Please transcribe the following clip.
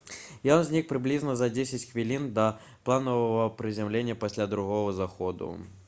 ён знік прыблізна за дзесяць хвілін да планавага прызямлення пасля другога заходу